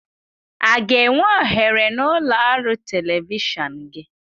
Aga enwe ohere n'ụlọ ọrụ telivishọn gị?